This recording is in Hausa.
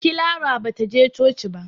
Clara ba ta je coci ba.